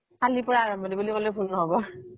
কালিৰ পৰা আৰম্ভনি বুলি কলেও ভুল নহব